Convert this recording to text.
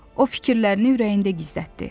O fikirlərini ürəyində gizlətdi.